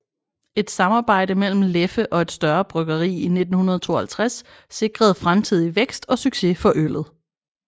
Et samarbejde mellem Leffe og et større bryggeri i 1952 sikrede fremtidig vækst og succes for øllet